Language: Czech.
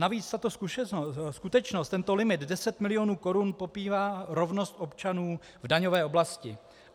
Navíc tato skutečnost, tento limit 10 mil. korun, popírá rovnost občanů v daňové oblasti.